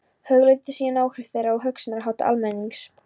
Hugleiddu síðan áhrif þeirra á hugsunarhátt almennings.